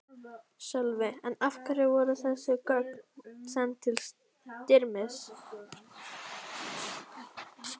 Sölvi: En af hverju voru þessi gögn send til Styrmis?